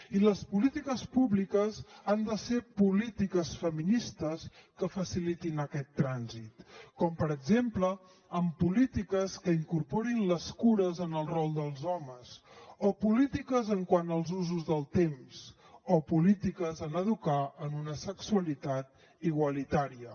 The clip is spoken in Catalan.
i les polítiques públiques han de ser polítiques feministes que facilitin aquest trànsit com per exemple amb polítiques que incorporin les cures en el rol dels homes o polítiques quant als usos del temps o polítiques en educar en una sexualitat igualitària